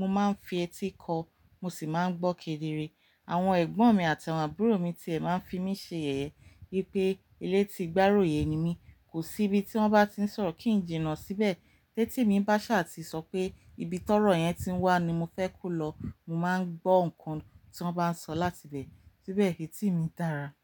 mo máa ń fi ẹ̀tì kọ, mo sì máa ń gbọ́ kedere. Àwọn ẹ̀gbọ́n mi àti àwọn àbúrò mi ti ẹ máa ń fi mi ṣe yẹ̀yẹ́, wipé "elétí-gbáròyé" ni mí, kò sí ibi tí wọ́n bá ti ń sọ̀rọ̀ kí ń jìnnà síbẹ̀, tètì mi bá ṣà ti sọ pé "ibi tórọ̀ yẹn ti wá ni mo fẹ́ kú lọ", mo máa ń gbọ́ nǹkan tí wọ́n bá ń sọ láti ibẹ̀. Síbẹ̀ ẹ̀tì mi dára.